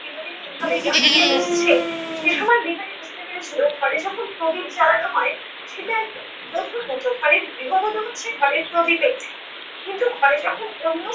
বিনোদিনী এভাবে জাকিয়ে বসছে সে সময়য় বিহারি বুঝতে পেরেছিলো ঘরে যখন প্রদীপ জ্বালানো হয় সেটা একটা বধূর মতো, ঘরের গৃহবধূ হচ্ছে ঘরের প্রদীপের ন্যায় কিন্তু ঘরে যখন অন্য